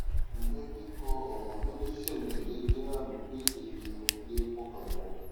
ǹjẹ kíkó ọrọ lọ ní ṣísẹntẹlé jẹ àmì pé èèyàn ò lè pọkàn pọ